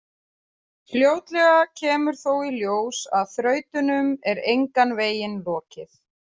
Fljótlega kemur þó í ljós að þrautunum er engan veginn lokið.